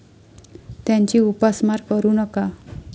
त्यांची उपासमार करू नका.